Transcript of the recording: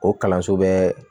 O kalanso bɛ